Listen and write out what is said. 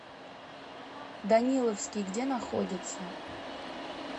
даниловский где находится